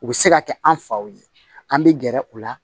U bɛ se ka kɛ an faw ye an bɛ gɛrɛ u la